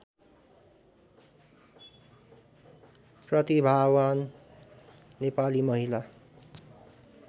प्रतिभावान नेपाली महिला